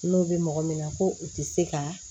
N'o bɛ mɔgɔ min na ko u tɛ se ka